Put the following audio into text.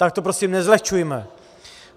Tak to prostě nezlehčujme.